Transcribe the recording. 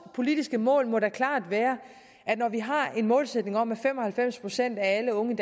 politiske mål må klart være at når vi har en målsætning om at fem og halvfems procent alle unge